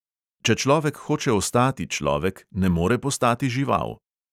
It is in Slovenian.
Če človek hoče ostati človek, ne more postati žival.